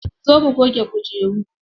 Zo mu goge kujeru.